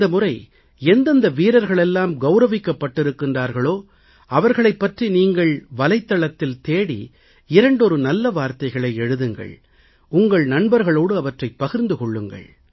இந்த முறை எந்தெந்த வீரர்களெல்லாம் கவுரவிக்கப்பட்டிருக்கின்றார்களோ அவர்களைப் பற்றி நீங்கள் வலைத்தளத்தில் தேடி இரண்டொரு நல்ல வார்த்தைகளை எழுதுங்கள் உங்கள் நண்பர்களோடு அவற்றைப் பகிர்ந்து கொள்ளுங்கள்